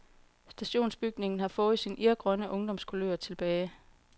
Stationsbygningen har fået sin irgrønne ungdomskulør tilbage.